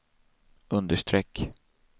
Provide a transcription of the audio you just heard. understreck